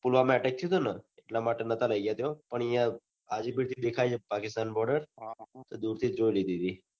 પુલવામાં attack થયુંતું ન એટલા માટે નાતા લઇ ગયા ત્યો પણ યાર હાજીપીર થી દેખાય છે પાકિસ્તાન border દુરથી જ જોઈ લીધી હતી